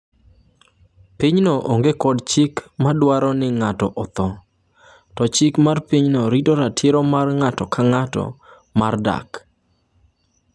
Pinyno onge kod chik ma dwaro ni ng’ato otho, to chik mar pinyno rito ratiro mar ng’ato ka ng’ato mar dak.